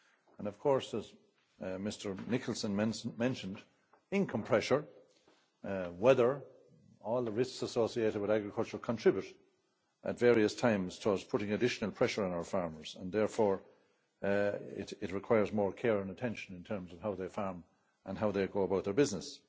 And of course, as Mr Nicholson mentioned, income pressure, weather, all the risks associated with agriculture, contribute at various times towards putting additional pressure on our farmers and therefore it requires more care and attention in terms of how they farm and how they go about their business.